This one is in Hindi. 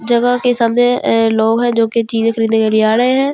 जगह के सामने लोंग है जो की चीज़े खरीदने के लिए आ रहे है इस ज --